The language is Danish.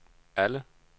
alle